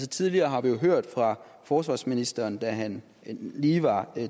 tidligere har vi jo hørt fra forsvarsministeren da han lige var